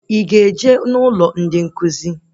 Ị ga-eje stafurum?